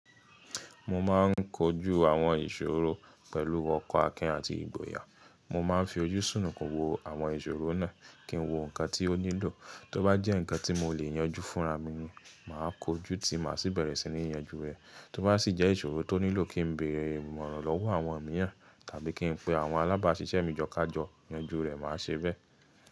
Mo máa ń kojú àwọn ìṣòro pẹ̀lú ọkàn akin àti ìgboyà. Mo máa ń fi ojú ṣùnùkùn kò wo àwọn ìṣòro náà kí n wo nǹkan tí ó nílò. Tó bá jẹ́ nǹkan tí mo lè yanjú fúnra mi ni, màá kojú tí màá sì bẹ̀rẹ̀ sí ní yanjú rẹ̀. Tó bá sì jẹ́ ìṣòro tó nílò kí n béèrè ìmọ̀ràn lọ́wọ́ àwọn mìíràn tàbí kí n pe àwọn alábáṣiṣẹ́ mi jọ̀kájọ́, yanjú rẹ̀ màá ṣe bẹ́ẹ̀.